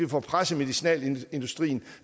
presse medicinalindustrien